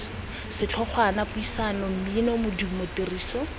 setlhogwana puisano mmino modumo tiriso